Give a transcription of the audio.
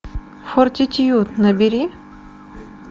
фортитьюд набери